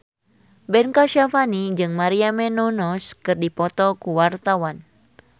Ben Kasyafani jeung Maria Menounos keur dipoto ku wartawan